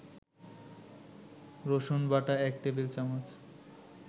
রসুনবাটা ১ টেবিল-চামচ